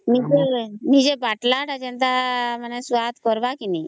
ନିଜେ ବାଟଲ ତା ଯେନ୍ତା ସ୍ୱାଦ କରବା କି